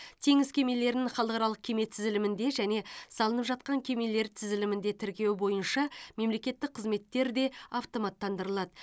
теңіз кемелерін халықаралық кеме тізілімінде және салынып жатқан кемелер тізілімінде тіркеу бойынша мемлекеттік қызметтер де автоматтандырылады